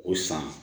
O san